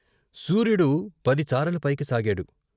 సూర్యుడు పదిచారల పైకి సాగాడు.